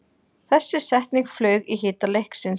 Þessi setning flaug í hita leiksins